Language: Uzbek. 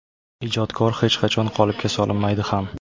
Ijodkor hech qachon qolipga solinmaydi ham.